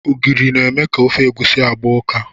Ogiri na-eme ofe egusi agba ụka.